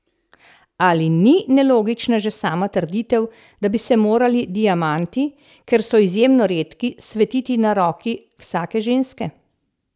Ali ni nelogična že sama trditev, da bi se morali diamanti, ker so izjemno redki, svetiti na roki vsake ženske?